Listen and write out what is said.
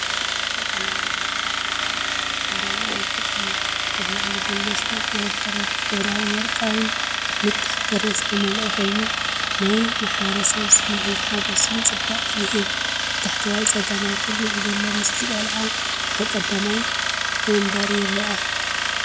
በዓላዊ ውራይ ኮይኑ ሕብራዊ መልክዕ እዩ። ኣብ ላዕሊ ዘሎ ስነ-ጥበብ በረድ ብሕብራዊን ወርቃውን ንጣብ በረድ ዝተመልአ ኮይኑ፡ ናይ ማሕበረሰብን ስምዒት ሓጎስን ጽባቐን ይህብ። ኣብ ታሕተዋይ ጸጋማይ ኩርናዕ ዘሎ ምስሊ ቆልዓ ኣብ ቀዳማይ መንበር ይርአ።